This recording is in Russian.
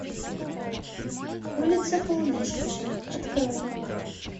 улица полумесяца открой